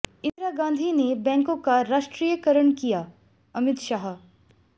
इंदिरा गांधी जी ने बैंकों का राष्ट्रीयकरण कियाः अमित शाह